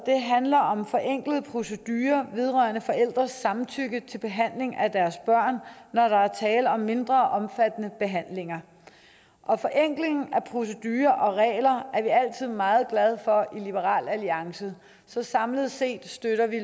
handler om forenklede procedurer vedrørende forældres samtykke til behandling af deres børn når der er tale om mindre omfattende behandlinger og forenkling af procedurer og regler er vi altid meget glade for i liberal alliance så samlet set støtter vi